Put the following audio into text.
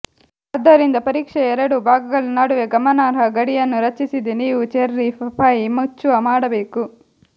ಆದ್ದರಿಂದ ಪರೀಕ್ಷೆಯ ಎರಡೂ ಭಾಗಗಳ ನಡುವೆ ಗಮನಾರ್ಹ ಗಡಿಯನ್ನು ರಚಿಸಿದೆ ನೀವು ಚೆರ್ರಿ ಪೈ ಮುಚ್ಚುವ ಮಾಡಬೇಕು